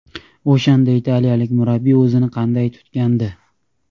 O‘shanda italiyalik murabbiy o‘zini qanday tutgandi?